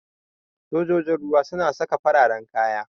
Sojojin ruwa suna saka fararan kaya.